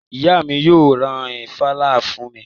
Ìyá mi yóò ra ìfàlà fún mi